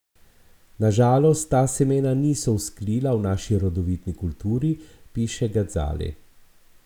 Na žalost, ta semena niso vzklila v naši rodovitni kulturi, piše Gazali.